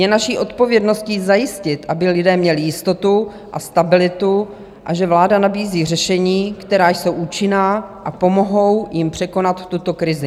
Je naší odpovědností zajistit, aby lidé měli jistotu a stabilitu, a že vláda nabízí řešení, která jsou účinná a pomohou jim překonat tuto krizi.